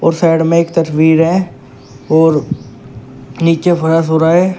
ओ side में एक तस्वीर है और नीचे फर्श हो रहा है।